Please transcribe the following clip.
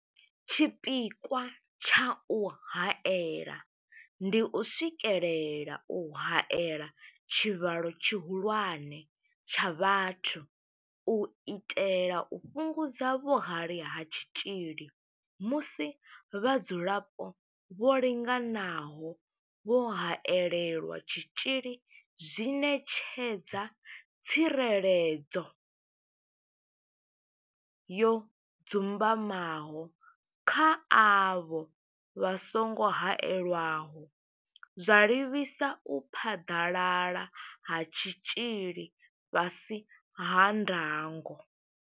Tshipikwa tsha u haela ndi u swikelela u haela tshivhalo tshihulwane tsha vhathu u itela u fhungudza vhuhali ha tshitzhili, musi vhadzulapo vho linganaho vho haelelwa tshitzhili zwi ṋetshedza tsireledzo yo dzumbamaho kha avho vha songo haelwaho, zwa livhisa u phaḓalala ha tshitzhili fhasi ha ndango.